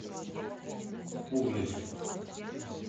углича